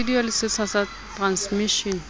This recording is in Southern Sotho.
studio le setsha sa transmishene